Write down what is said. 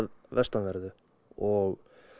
vestanverðu og